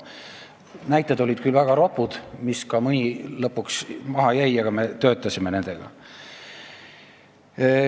Näited olid küll väga ropud, mõni jäi lõpuks ka välja, me töötasime nendega.